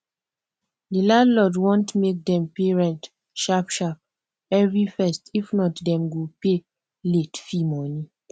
di landlord want make dem pay rent sharp sharp every 1stif not dem go pay late fee money